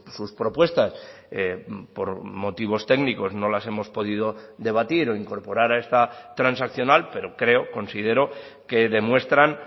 sus propuestas por motivos técnicos no las hemos podido debatir o incorporar a esta transaccional pero creo considero que demuestran